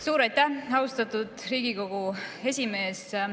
Suur aitäh, austatud Riigikogu esimees!